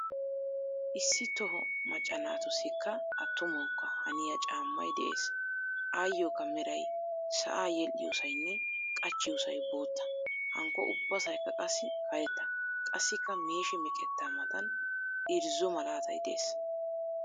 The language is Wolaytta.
Issi toho macca naatussikka attumawukka haniya caammay de'ees. Ayyookka meray sa"aa yedhdhiyoosaynne qachchiyoosay bootta hankko ubbasaykka qassi karetta. Qassikka meeshi meqettaa matan irrzo malaatay de'ees.